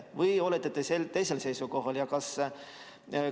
Või olete te teisel seisukohal?